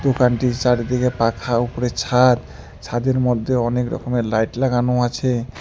দোকানটির চারদিকে পাখা ওপরে ছাদ ছাদের মধ্যে অনেক রকমের লাইট লাগানো আছে।